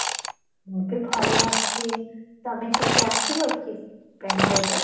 ମୁଁ ବି ଭଲ ଅଛି, ତମେ କେବେ ଆସିବ କି ବେଙ୍ଗାଲୁରୁ ରୁ?